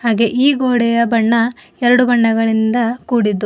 ಹಾಗೆ ಈ ಗೋಡೆಯ ಬಣ್ಣ ಎರಡು ಬಣ್ಣಗಳಿಂದ ಕೂಡಿದ್ದು.